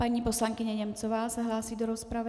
Paní poslankyně Němcová se hlásí do rozpravy.